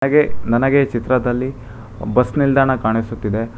ಹಾಗೆ ನನಗೆ ಚಿತ್ರದಲ್ಲಿ ಬಸ್ ನಿಲ್ದಾಣ ಕಾಣಿಸುತ್ತಿದೆ.